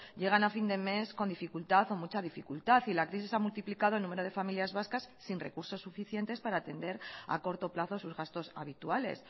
llegan a fin de mes con dificultad o mucha dificultad y la crisis ha multiplicado el número de familias vascas sin recursos suficientes para atender a corto plazo sus gastos habituales